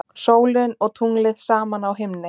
Sólin og tunglið saman á himni.